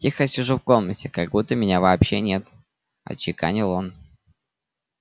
тихо сижу в комнате как будто меня вообще нет отчеканил он